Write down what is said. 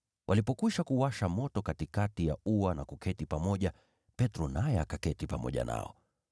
Walipokwisha kuwasha moto katikati ya ua na kuketi pamoja, Petro naye akaketi pamoja nao.